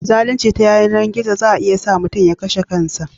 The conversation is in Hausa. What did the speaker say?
Zalunci ta yanar gizo zai iya sa mutum ya kashe kansa